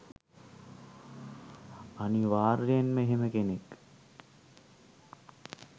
අනිවාර්යෙන්ම එහෙම කෙනෙක්